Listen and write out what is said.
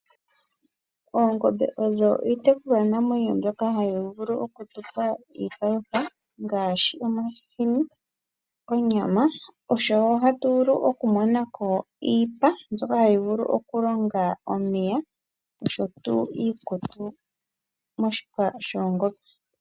Oongombe odho iitekulwa namwenyo mbyoka ha yi vulu okutupa iipalutha ngaashi omahini, onyama oshowo oha tu vulu okumonako iipa mbyoka hayi vulu okulonga omapaya osho tuu iikutu moshipa shoongombe.